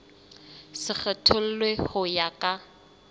se kgethollwe ho ya ka